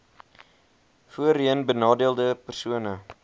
voorheen benadeelde persone